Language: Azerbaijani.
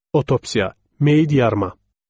Otopsiya, meyit yarıma.